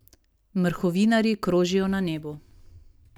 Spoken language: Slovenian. Mrhovinarji krožijo na nebu.